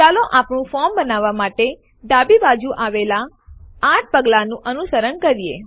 ચાલો આપણું ફોર્મ બનાવવાં માટે ડાબી બાજુએ આવેલ ૮ પગલાઓનું અનુસરણ કરીએ